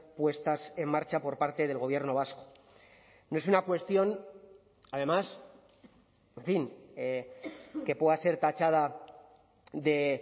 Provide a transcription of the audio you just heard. puestas en marcha por parte del gobierno vasco no es una cuestión además en fin que pueda ser tachada de